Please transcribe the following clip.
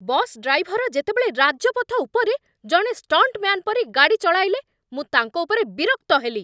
Bus driver ଯେତେବେଳେ ରାଜପଥ ଉପରେ ଜଣେ ଷ୍ଟଣ୍ଟମ୍ୟାନ୍ ପରି ଗାଡ଼ି ଚଳାଇଲେ ମୁଁ ତାଙ୍କ ଉପରେ ବିରକ୍ତ ହେଲି।